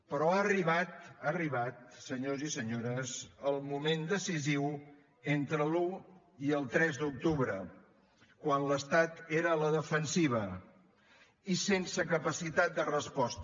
però ha arribat ha arribat senyors i senyores el moment decisiu entre l’un i el tres d’octubre quan l’estat era a la defensiva i sense capacitat de resposta